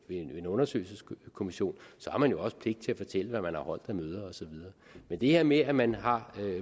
en undersøgelseskommission har man jo også pligt til at fortælle hvad man har holdt af møder og så videre men det her med at man har